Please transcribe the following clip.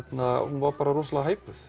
var rosalega